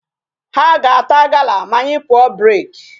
Ha ga-ata gala ma anyị pụọ break.